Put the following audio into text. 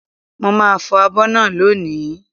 Mo màá fọ̀ abọ́ náà lónìí